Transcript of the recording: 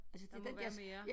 Der må være mere